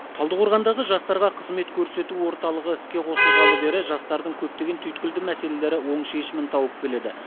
талдықорғандағы жастарға қызмет көрсету орталығы іске қосылғалы бері жастардың көптеген түйткілді мәселесі оң шешімін тауып келеді